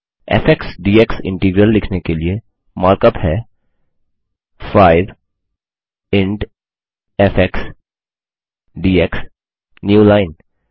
फ़ x d x integral लिखने के लिए मार्कअप है5 इंट एफएक्स डीएक्स न्यूलाइन